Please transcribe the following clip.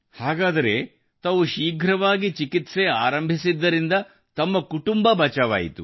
ಹಾಗಾದರೆ ತಾವು ಶೀಘ್ರವಾಗಿ ಕಾರ್ಯತ್ಪರವಾಗಿದ್ದರಿಂದ ತಮ್ಮ ಕುಟುಂಬ ಬಚಾವಾಯಿತು